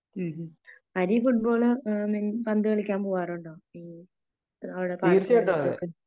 ഹ്ം ഹ്ം ഹരി ഫൂട്ബോള് പന്ത് കളിക്കാൻ പോകാറുണ്ടോ ?അവിടെ പാടത്ത് വരമ്പത്ത് ഒക്കെ